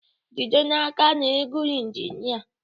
Jide n'aka na ị gụrụ injinia